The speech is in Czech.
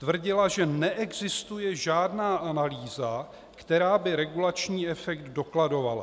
Tvrdila, že neexistuje žádná analýza, která by regulační efekt dokladovala.